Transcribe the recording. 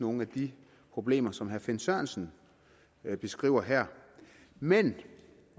nogle af de problemer som herre finn sørensen beskriver her men